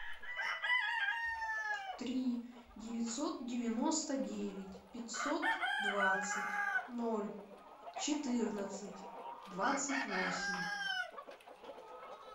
три девятьсот девяносто девять пятьсот двадцать ноль четырнадцать двадцать восемь